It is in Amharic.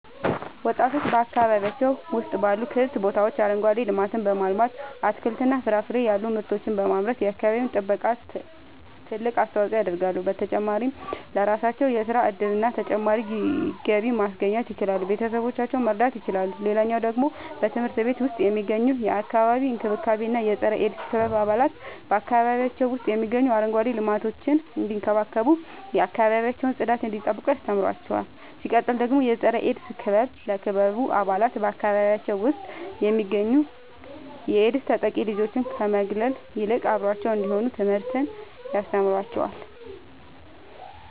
ወጣቶች በአካባቢያቸው ውስጥ ባሉ ክፍት ቦታዎች አረንጓዴ ልማትን በማልማት አትክልትና ፍራፍሬ ያሉ ምርቶችን በማምረት የአካባቢው ጥበቃ ትልቅ አስተዋጽኦ ያደርጋሉ። በተጨማሪም ለራሳቸው የሥራ እድልና ተጨማሪ ገቢ ማስገኘት ይችላሉ ቤተሰቦቻቸውን መርዳት ይችላሉ። ሌላኛው ደግሞ በትምህርት ቤት ውስጥ የሚገኙ የአካባቢ እንክብካቤ እና የፀረ -ኤድስ ክበብ አባላት በአካባቢያቸው ውስጥ የሚገኙትን አረንጓዴ ልማቶች እንዲንከባከቡ የአካባቢያቸውን ጽዳት እንዲጠብቁ ያስተምሯቸዋል። ሲቀጥል ደግሞ የፀረ-ኤድስ ክበብ ለክበቡ አባላት በአካባቢያቸው ውስጥ የሚገኙ የኤድስ ተጠቂ ልጆችን ከመግለል ይልቅ አብረዋቸው እንዲሆኑ ትምህርትን ያስተምራቸዋል።